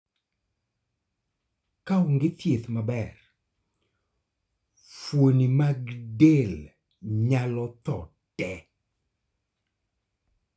. Ka onge thiedh maber, fuoni mag del nyalo tho tee